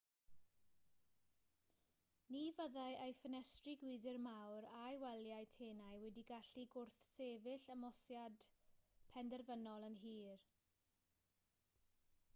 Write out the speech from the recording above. ni fyddai ei ffenestri gwydr mawr a'i waliau tenau wedi gallu gwrthsefyll ymosodiad penderfynol yn hir